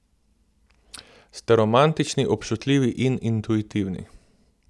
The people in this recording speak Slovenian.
Ste romantični, občutljivi in intuitivni.